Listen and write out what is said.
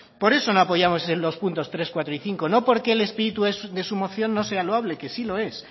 por eso no apoyamos en los puntos tres cuatro y cinco no porque el espíritu de su moción no sea loable que sí lo es